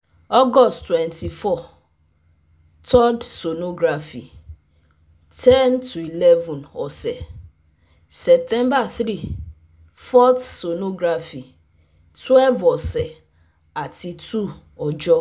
August twenty four - three rd sonography ten - eleven, ose Sept three - four th sonography twelve ose ati two ọjọ